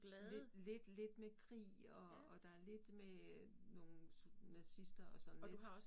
Lidt lidt lidt med krig og og der lidt med øh nogle nazister og sådan lidt